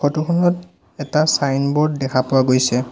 Photo খনত এটা signboard দেখা পোৱা গৈছে।